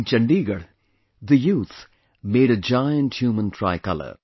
In Chandigarh, the youth made a giant human tricolor